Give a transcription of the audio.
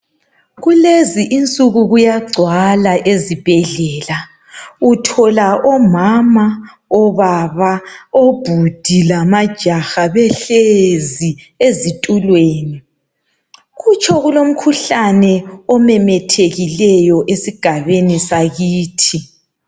Kulezi insuku kuyagcwala ezibhedlela, uthola omama, obaba, obhudi lamajaha behlezi ezitulweni. Kutsho kulomkhuhlane omemethekileyo esigabeni sakithi.